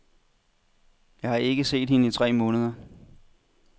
Jeg har ikke set hende i tre måneder.